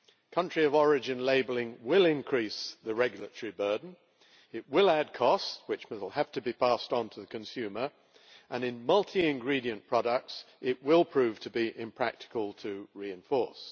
country of origin labelling will increase the regulatory burden, it will add cost which will have to be passed onto the consumer, and in multi ingredient products it will prove to be impractical to reinforce.